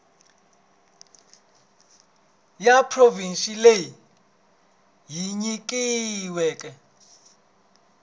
ya provhinsi leyi yi nyikiweke